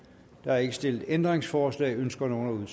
der er ikke stillet ændringsforslag ønsker nogen